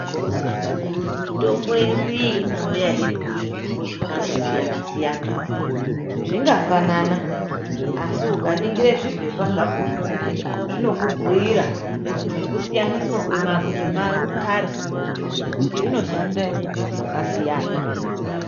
Mitombo yedu iyi, inouya irizvitombo zvakatosiyana siyana. Zvingafanana, asi ukaningire zviphepha zvakhona zbinoku buyirira nokusiyaniswa kwemakhara kuti inoshanda zvakasiyana.